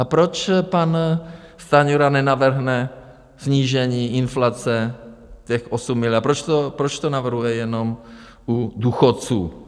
A proč pan Stanjura nenavrhne snížení inflace, těch 8 miliard, proč to navrhuje jenom u důchodců?